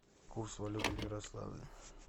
курс валюты в ярославле